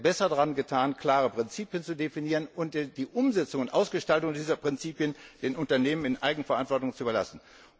Wir hätten besser daran getan, klare Prinzipien zu definieren und die Umsetzung und Ausgestaltung dieser Prinzipien den Unternehmen in Eigenverantwortung zu überlassen.